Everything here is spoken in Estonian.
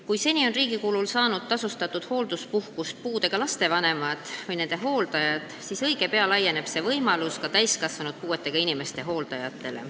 Kui seni on riigi kulul saanud tasustatud hoolduspuhkust puudega laste vanemad või nende hooldajad, siis õige pea laieneb see võimalus ka täiskasvanud puudega inimeste hooldajatele.